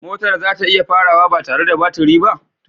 Motar za ta iya farawa ba tare da baturi ba?